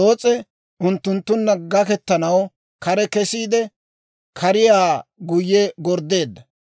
Loos'e unttunttunna gaketanaw kare kesiide, kariyaa guyye gorddeedda;